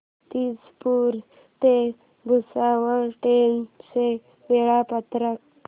मूर्तिजापूर ते भुसावळ ट्रेन चे वेळापत्रक